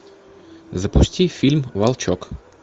запусти фильм волчок